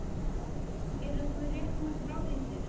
Eru það réttmætar áhyggjur?